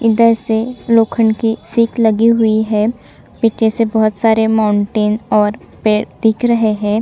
इधर से लोखंड की सीख लगी हुई है पीछे से बहुत सारे माउंटेन और पेड़ दिख रहे है ।